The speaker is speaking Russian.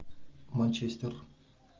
манчестер